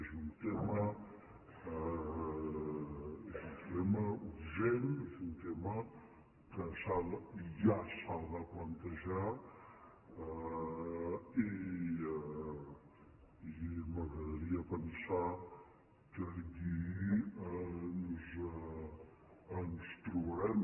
és un tema urgent és un tema que ja s’ha de plantejar i m’agradaria pensar que allí ens trobarem